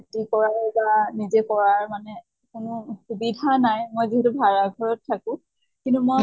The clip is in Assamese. খেতি কৰা মানে নিজে কৰাৰ মানে কোনো সুবিধা নাই মই যিহেতু ভাড়া ঘৰত থাকো। কিন্তু মই